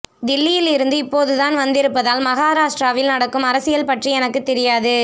தில்லியில் இருந்து இப்போதுதான் வந்திருப்பதால் மகாராஷ்டிராவில் நடக்கும் அரசியல் பற்றி எனக்கு தெரியாது